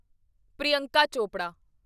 Priyanka Chopra